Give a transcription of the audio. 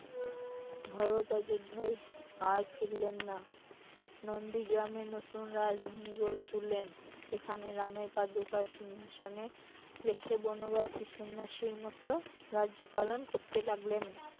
ভরত অযোধ্যায় আর ফিরলেন না নন্দি গ্রামে নতুন রাজধানী গড়ে তুললেন, সেখানে রামের পাদুকা সিংহাসনে রেখে বনবাসে সন্ন্যাসীর মতে রাজ্য পালন করতে লাগলেন